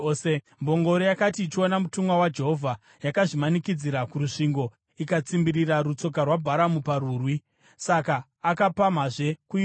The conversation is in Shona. Mbongoro yakati ichiona mutumwa waJehovha, yakazvimanikidzira kurusvingo ikatsimbirira rutsoka rwaBharamu parwuri. Saka akapamhazve kuirova.